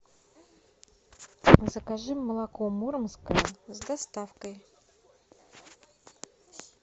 закажи молоко муромское с доставкой